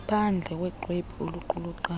phandle ngoxwebhu oluqulunqwayo